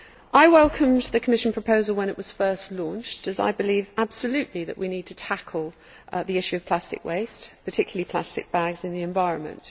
I welcomed the Commission proposal when it was first launched, as I believe absolutely that we need to tackle the issue of plastic waste, particularly plastic bags, in the environment.